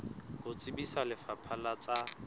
ho tsebisa lefapha la tsa